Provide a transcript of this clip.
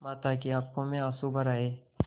माता की आँखों में आँसू भर आये